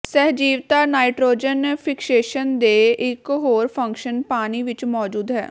ਸਹਿਜੀਵਤਾ nitrogen fixation ਦੇ ਇਕ ਹੋਰ ਫੰਕਸ਼ਨ ਪਾਣੀ ਵਿੱਚ ਮੌਜੂਦ ਹੈ